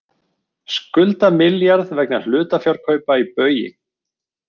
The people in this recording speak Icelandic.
Skulda milljarð vegna hlutafjárkaupa í Baugi